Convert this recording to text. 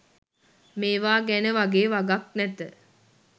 මේවා ගැන වගේ වගක් නැත.